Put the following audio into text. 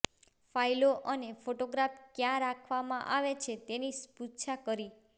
ફાઈલો અને ફોટોગ્રાફ્સ ક્યાં રાખવામાં આવે છે એની પૃચ્છા કરી